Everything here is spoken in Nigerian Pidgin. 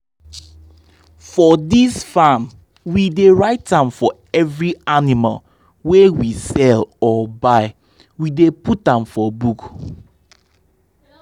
for dis farm we dey write am for every animal wey we sell or buy— we dey put am for book.